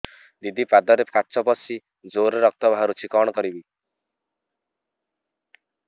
ଦିଦି ପାଦରେ କାଚ ପଶି ଜୋରରେ ରକ୍ତ ବାହାରୁଛି କଣ କରିଵି